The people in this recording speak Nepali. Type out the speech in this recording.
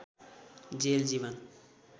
जेल जीवन